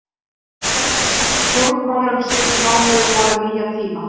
Breytingarnar í stjórnmálum síðustu mánuði boða nýja tíma.